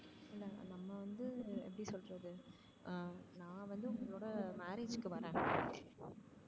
அஹ் நா வந்து உங்களோட marriage க்கு வரேன்